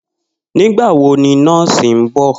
Nígbà wo ni nó̩ò̩sì ń bò̩?